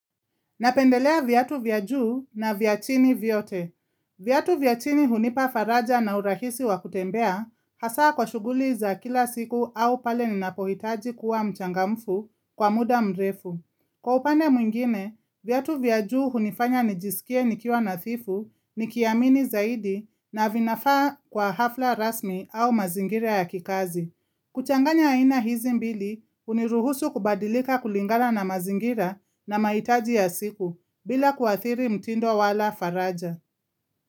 Napendelea viatu vya juu na vya chini vyote. Viatu vya chini hunipa faraja na urahisi wa kutembea hasa kwa shughuli za kila siku au pale ninapohitaji kuwa mchangamfu kwa muda mrefu. Kwa upande mwingine, viatu vya juu hunifanya nijisikie nikiwa nathifu, nikiamini zaidi na vinafaa kwa hafla rasmi au mazingira ya kikazi. Kuchanganya aina hizi mbili huniruhusu kubadilika kulingana na mazingira na mahitaji ya siku bila kuathiri mtindo wala faraja.